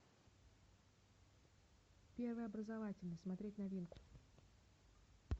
первый образовательный смотреть новинку